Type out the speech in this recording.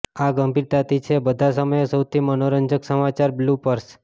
આ ગંભીરતાથી છે બધા સમયે સૌથી મનોરંજક સમાચાર બ્લૂપર્સ